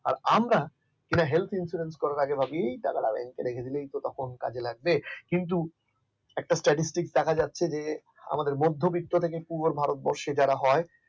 আর আমরা helth insurance করার আগে ভাবিএই টাকাটা রেখে দিলে তখন তো কাজে লাগবে কিন্তু একটা statistik দেখা যাচ্ছে যে আমাদের মধ্যবিত্ত থেকে পর ভারতবর্ষে হয়